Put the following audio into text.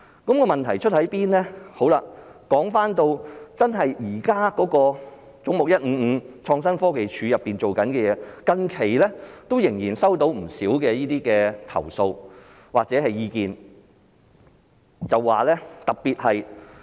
說回現時"總目 155― 政府總部：創新科技署"做的項目，最近仍然收到不少投訴或意見，特別有關......